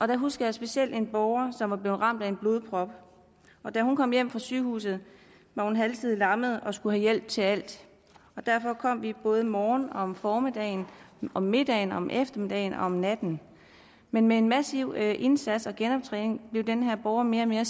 der husker jeg specielt en borger som var blevet ramt af en blodprop da hun kom hjem fra sygehuset var hun halvsidigt lammet og skulle have hjælp til alt og derfor kom vi både om morgenen om formiddagen om middagen om eftermiddagen og om natten men med en massiv indsats og genoptræning blev den her borger mere og mere